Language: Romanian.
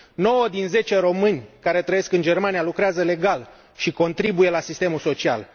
Nouă din zece români care trăiesc în Germania lucrează legal și contribuie la sistemul social.